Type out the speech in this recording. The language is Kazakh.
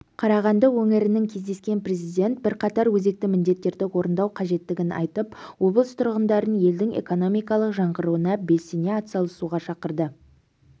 қарағанды өңірінің кездескен президент бірқатар өзекті міндеттерді орындау қажеттігін айтып облыс тұрғындарын елдің экономикалық жаңғыруына белсене атсалысуға шақырды